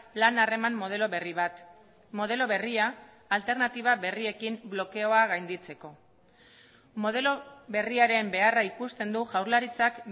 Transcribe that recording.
lan harreman modelo berri bat modelo berria alternatiba berriekin blokeoa gainditzeko modelo berriaren beharra ikusten du jaurlaritzak